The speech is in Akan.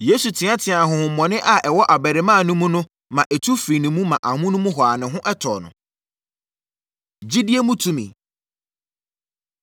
Yesu teateaa honhommɔne a ɛwɔ abarimaa no mu no ma ɛtu firii ne mu ma amonom hɔ ara ne ho tɔɔ no. Gyidie Mu Tumi